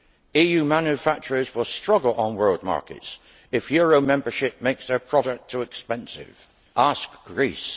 EU manufacturers will struggle on world markets if euro membership makes their products too expensive ask Greece!